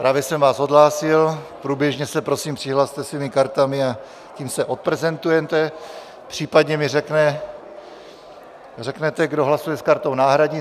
Právě jsem vás odhlásil, průběžně se prosím přihlaste svými kartami, a tím se odprezentujete, případně mi řekněte, kdo hlasuje s kartou náhradní.